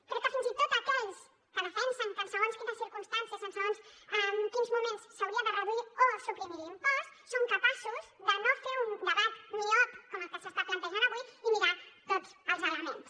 crec que fins i tot aquells que defensen que en segons quines circumstàncies en segons quins moments s’hauria de reduir o suprimir l’impost són capaços de no fer un debat miop com el que s’està plantejant avui i mirar tots els elements